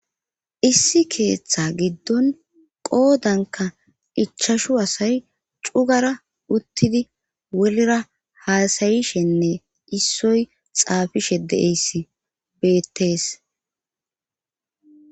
issi keeththa giddon qoodanka ichashu asay cugara uttidi wolera haasayishenne issoy xaafishe deeyssi beettees